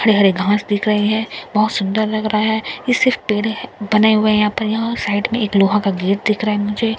हरे-हरे घास दिख रहे हैं बहुत सुंदर लग रहा हैं ये सिर्फ पेर है बने हुए है यहां पर यहां साइड में एक लोहा का गेट दिख रहा है मुझे --